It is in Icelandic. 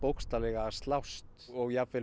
að slást og jafnvel